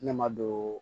Ne ma don